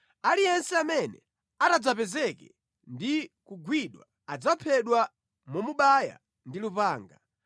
Aliyense amene atadzapezeke ndi kugwidwa adzaphedwa momubaya ndi lupanga.